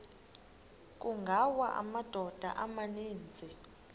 kungawa amadoda amaninzi